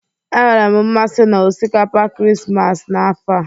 Enwere m mmasị na osikapa Krismas n'afọ a.